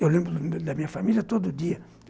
Eu lembro da minha família todo dia.